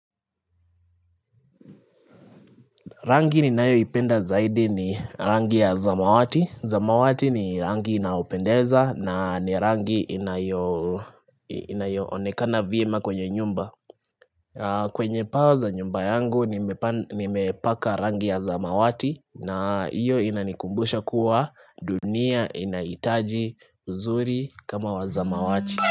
Rangi ninayoipenda zaidi ni rangi ya samawati. Samawati ni rangi inayopendeza na ni rangi inayo onekana vyema kwenye nyumba. Kwenye paa za nyumba yangu nimepaka rangi ya samawati na iyo inanikumbusha kuwa dunia inahitaji uzuri kama wa samawati.